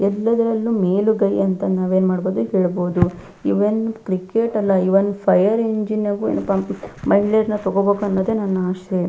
ಎಲ್ಲದರಲ್ಲೂ ಮೇಲುಗೈ ಅಂತ ನಾವು ಏನ್ಮಾಡಬಹುದು ಹೇಳ್ಬಹುದು ಈವನ್ ಕ್ರಿಕೆಟ್ ಅಲ್ಲ ಈವನ್ ಫೈರ್ ಇಂಜಿನ್ ಅಗು ಮಹಿಳೆಯರ್ನ ತಗೋಬೇಕು ಅನ್ನೋದೇ ನನ್ನ ಆಶೆ.